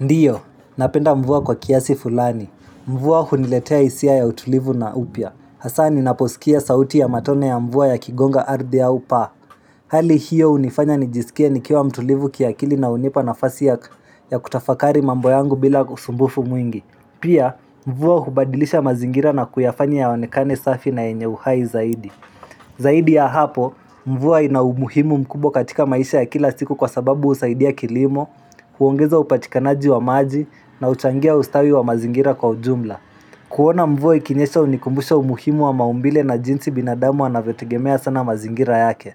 Ndiyo, napenda mvua kwa kiasi fulani. Mvua huniletea hisia ya utulivu na upya. Hasa ninaposikia sauti ya matone ya mvua yakigonga ardhi au paa. Hali hiyo hunifanya nijisikie nikiwa mtulivu kiakili na hunipa nafasi ya kutafakari mambo yangu bila usumbufu mwingi. Pia, mvua hubadilisha mazingira na kuyafanya yaoanekane safi na yenye uhai zaidi. Zaidi ya hapo, mvua ina umuhimu mkubwa katika maisha ya kila siku kwa sababu husaidia kilimo, kuongeza upatikanaji wa maji na huchangia ustawi wa mazingira kwa ujumla kuona mvua ikinyesha hunikumbusha umuhimu wa maumbile na jinsi binadamu anavyotegemea sana mazingira yake